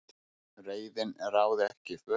Reiðin ráði ekki för